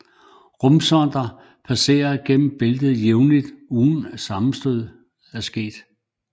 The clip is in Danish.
Rumsonder passerer gennem bæltet jævnligt uden at sammenstød er sket